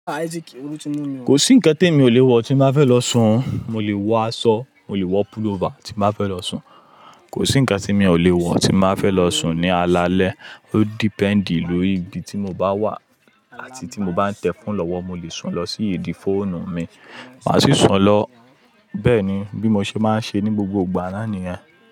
Kò sí ǹkan temi ò lè wọ tí mo ba fẹ́ lọ sùn. Mo lè wọ aṣọ, mo lè wọ pullover tí n ba fẹ́ lọ sùn. Kò sí ǹkan tí mi ò lè wọ tí n ba fẹ́ lọ sùn ní alalẹ́. Ó dependi lórí ibi tí mo bá wà àti tí mo bá ń tẹ̀ phone lọ́wọ́. Mo lè sùn lọ sí idi fóònù mi, màá sì sùn lọ bẹ́ẹ̀ ni bí mo ṣe máa ń ṣe ní gbogbo ìgbà nàá nìyẹn.